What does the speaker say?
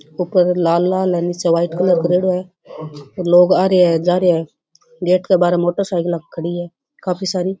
ऊपर लाल लाल है निचे व्हाइट कलर करेड़ों है लोग आ रेया है जा रेया है गेट के बहारे मोटरसाइकिला खड़ी है काफी सारी।